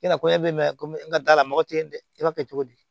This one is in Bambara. I na fɔ ko ne bɛ mɛn komi n ka da la mɔgɔ tɛ yen dɛ i b'a kɛ cogo di